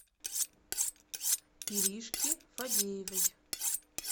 иришки фадеевой